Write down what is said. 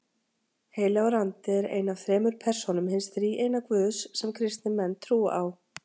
Heilagur andi er ein af þremur persónum hins þríeina Guðs sem kristnir menn trúa á.